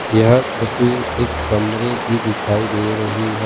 यह तस्वीर एक कमरे की दिखाई दे रही है।